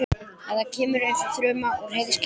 Þetta kemur eins og þruma úr heiðskíru lofti.